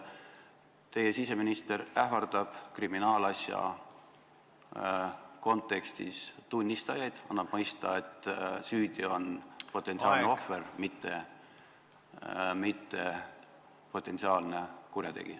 Teie siseminister ähvardab kriminaalasja kontekstis tunnistajaid, annab mõista, et süüdi on potentsiaalne ohver, mitte potentsiaalne kurjategija.